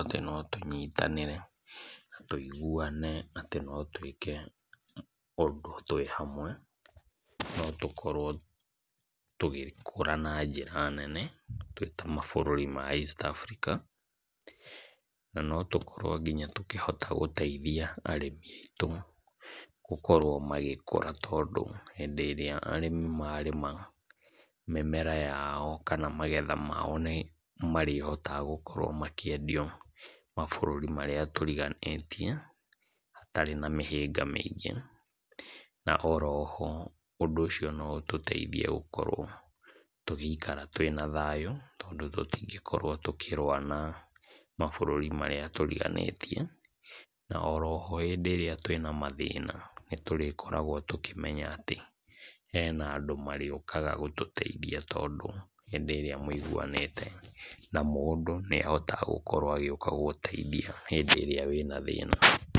atĩ notũnyitane na tũĩguane atĩ notũĩke ũndũ twĩhamwe, notũkorwo tũgĩkũra na njĩra nene, twĩta mabũrũri ma East Africa, na notũkorwo tũkĩhota nginya gũteithia arĩmi aitũ gukorwo magĩkũra. Nĩtondũ rĩrĩa arĩmi marĩma mĩmera yao kana magetha mao nĩmarĩhotaga gũkorwo makĩhota gũkĩendio mabũrũri marĩa tũriganĩtie, gũtarĩ na mĩhĩnga mĩingĩ. Na oho ũndũ ũcio noũtũteithiĩ gũikara twĩna thayũ, tondũ tũtingĩkorwo tũkĩrũa na mabũrũri marĩa tũriganĩtie. Na oroho hĩndĩ ĩrĩa twĩ a mathina, nĩtũrikoragwo tũnkĩmenya atĩ hena andũ marĩũkaga gũtũteithia tondũ hĩndĩ ĩrĩa mũiguanĩte namũndũ nĩ arĩũkaga gũgũteithia hĩndĩ ĩrĩa wĩna thĩna.